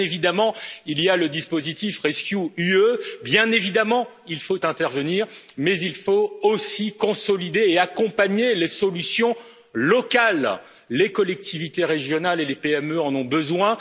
Bien évidemment il y a le dispositif rescEU, bien évidemment il faut intervenir, mais il faut aussi consolider et accompagner les solutions locales les collectivités régionales et les PME en ont besoin.